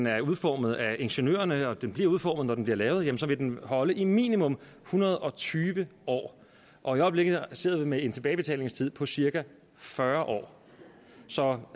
er udformet af ingeniørerne og som den bliver udformet når den bliver lavet vil den holde i minimum en hundrede og tyve år i øjeblikket sidder vi med en tilbagebetalingstid på cirka fyrre år så